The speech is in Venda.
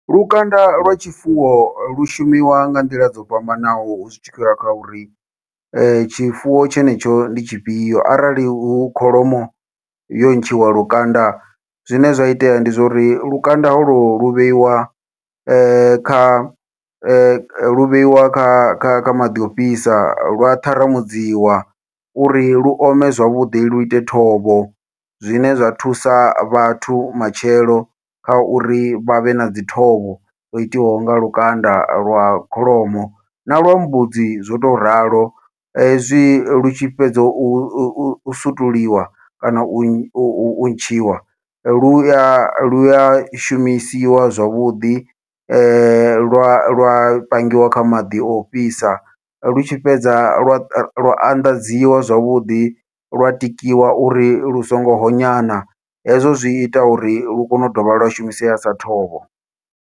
Lukanda lwa tshifuwo lu shumiwa nga nḓila dzo fhambanaho zwi tshi khou ya kha uri, tshifuwo tshenetsho ndi tshifhio arali hu kholomo yo ntshiwa lukanda zwine zwa itea ndi zwo uri lukanda holo lu vheiwa kha lu vheiwa kha maḓi ofhisa lwa ṱharamudziwa uri lu ome zwavhuḓi, lu ite thovho. Zwine zwa thusa vhathu matshelo kha uri vha vhe na dzi thovho yo itiwaho nga lukanda lwa kholomo na lwa mbudzi zwo to ralo, hezwi lu tshi fhedza u sutuliwa kana u ntshiwa lu ya lu ya shumisiwa zwavhuḓi lwa lwa pangiwa kha maḓi o fhisa, lu tshi fhedza lwa lwa anḓadziwa zwavhuḓi lwa tikiwa uri lu songo honyana, hezwo zwi ita uri lu kone u dovha lwa shumisea sa thovho.